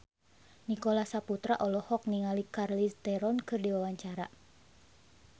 Nicholas Saputra olohok ningali Charlize Theron keur diwawancara